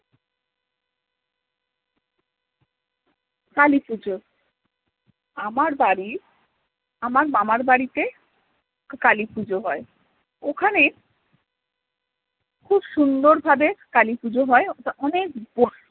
কালী পুজো আমার বাড়ির আমার মামার বাড়িতে কালী পুজো হয় ওখানে খুব সুন্দর ভাবে কালীপুজো হয় অনেক